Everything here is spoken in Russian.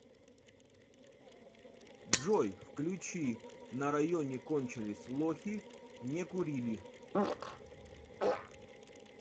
джой включи на районе кончились лохи не курили